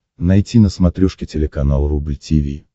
найти на смотрешке телеканал рубль ти ви